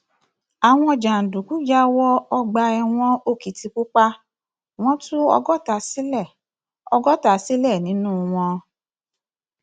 àwọn jàǹdùkú yà wọ ọgbà ẹwọn òkìtìpápá wọn tún ọgọta sílẹ ọgọta sílẹ nínú wọn